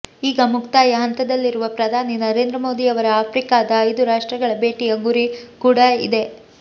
ಈಗ ಮುಕ್ತಾಯ ಹಂತದಲ್ಲಿರುವ ಪ್ರಧಾನಿ ನರೇಂದ್ರ ಮೋದಿಯವರ ಆಫ್ರಿಕಾದ ಐದು ರಾಷ್ಟ್ರಗಳ ಭೇಟಿಯ ಗುರಿ ಕೂಡ ಇದೇ